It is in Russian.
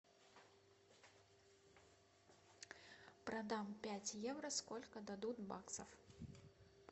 продам пять евро сколько дадут баксов